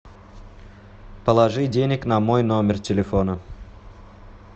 положи денег на мой номер телефона